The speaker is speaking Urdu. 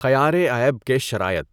خیارِعیب کے شرائط